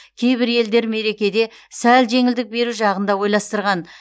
кейбір елдер мерекеде сәл жеңілдік беру жағын да ойластырған